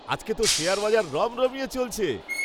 আজকে তো শেয়ার বাজার রমরমিয়ে চলছে।